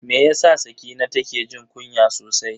Me yasa Sakina take jin kunya sosai?